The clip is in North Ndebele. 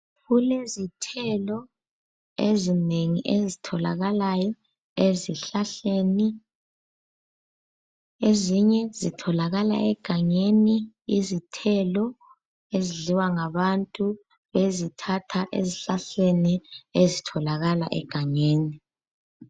Kulezithelo ezinengi ezitholakalayo ezihlahleni. Ezinye zitholakala egangeni, izithelo ezidliwa ngabantu bezithatha ezihlahleni ezitholakaka egangeni.